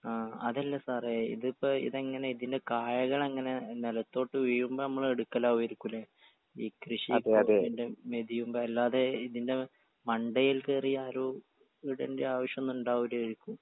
ആ അതല്ല സാറേ ഇതിപ്പൊ ഇതെങ്ങനെ ഇതിന്റെ കായ്കളെങ്ങനെ നെലത്തോട്ട് വീഴുമ്പൊ നമ്മളെടുക്കലാവോയിരിക്കുംലെ ഈ കൃഷി കവുങ്ങിന്റെ മെതിയുമ്പൊ അല്ലാതെ ഇതിന്റെ മണ്ടയിൽ കേറിയാരോ ഇടണ്ട ആവശ്യൊന്നുണ്ടാവൂലേരിക്കും.